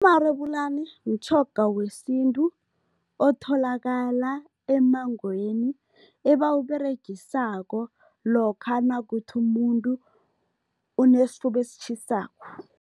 Umarebulani mtjhoga wesintu otholakala emmangweni, ebawUberegisako lokha nakuthi umuntu unesifuba esitjhisako.